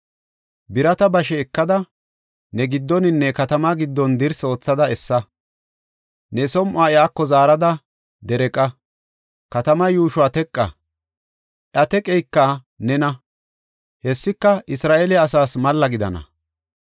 Birata bashe ekada, ne giddoninne katamaa giddon dirsi oothada essa. Ne som7uwa iyako zaarada dereeqa; katamaa yuushuwa teqa; iya teqeyka nena; hessika Isra7eele asaas malla gidana.